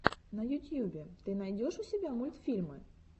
на ютьюбе ты найдешь у себя мультфильмы